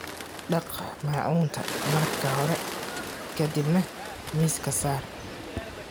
Dhaq maacunta marka hore ka dibna miiska saar.